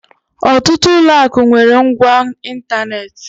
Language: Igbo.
Ọtụtụ ụlọ akụ nwere ngwá ịntanetị.